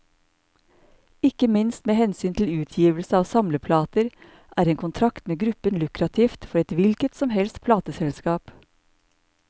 Ikke minst med hensyn til utgivelse av samleplater, er en kontrakt med gruppen lukrativt for et hvilket som helst plateselskap.